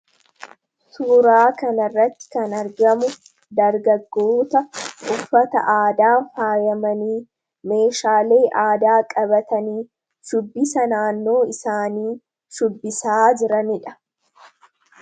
Suuraa kanarratti kan argamu dargaggoota uffata aadaan faayamanii, meeshaalee aadaa qabatanii, shubbisa naannoo isaanii shubbisaa jiraniidha.